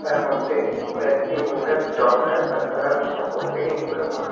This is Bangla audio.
তার মধ্যে কয়েকটি মহিলা ডক্টর তা তারা প্রত্যেকেই মুখে মা --